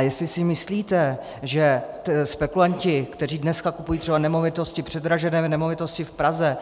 A jestli si myslíte, že spekulanti, kteří dneska kupují třeba nemovitosti, předražené nemovitosti v Praze,